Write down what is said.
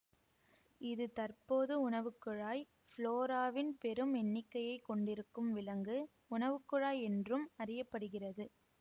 இது தற்போது உணவுக்குழாய் ஃப்ளோராவின் பெரும் எண்ணிக்கையை கொண்டிருக்கும் விலங்கு உணவுக்குழாய் என்றும் அறிய படுகிறது